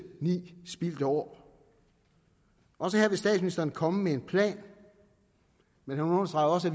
ni spildte år også her vil statsministeren komme med en plan men han understregede også